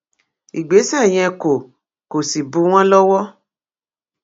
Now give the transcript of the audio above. ìgbésẹ yẹn kò kò sì bù wọn lọwọ